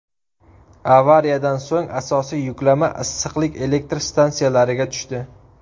Avariyadan so‘ng asosiy yuklama issiqlik elektr stansiyalariga tushdi.